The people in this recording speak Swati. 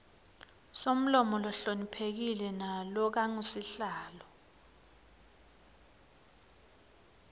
somlomo lohloniphekile nalokangusihlalo